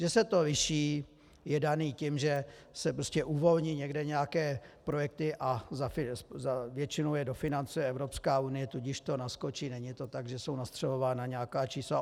Že se to liší, je dáno tím, že se prostě uvolní někde nějaké projekty a většinou je dofinancuje Evropská unie, tudíž to naskočí, není to tak, že jsou nastřelována nějaká čísla.